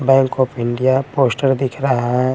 Bank of India poster दिख रहा है।